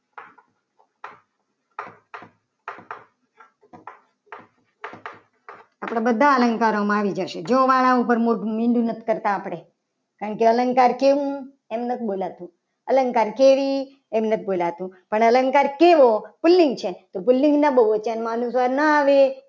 આપણે બધા અલંકારોમાં આવી જશે. એ જોવા વાળા ઉપર મોઢું મીઠું નથી. કરતા આપણે કંઈક અલંકાર કેવો? એમ નથી બોલાતું અલંકાર કેવી એમ નથી બોલાતું પણ અલંકાર કેવો પુલ્લિંગ છે. તો પુલ્લિંગના બહુવચનમાં અલંકાર ના આવે.